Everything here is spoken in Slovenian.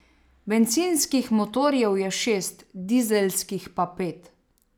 Bencinskih motorjev je šest, dizelskih pa pet.